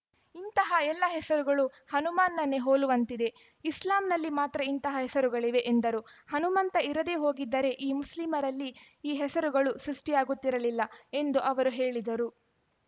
ಇಂತಹ ಎಲ್ಲ ಹೆಸರುಗಳು ಹನುಮಾನ್‌ನನ್ನೇ ಹೋಲುವಂತಿವೆ ಇಸ್ಲಾಂನಲ್ಲಿ ಮಾತ್ರ ಇಂತಹ ಹೆಸರುಗಳಿವೆ ಎಂದರು ಹನುಮಂತ ಇರದೇ ಹೋಗಿದ್ದರೆ ಈ ಮುಸ್ಲಿಮರಲ್ಲಿ ಈ ಹೆಸರುಗಳು ಸೃಷ್ಟಿಯಾಗುತ್ತಿರಲಿಲ್ಲ ಎಂದು ಅವರು ಹೇಳಿದರು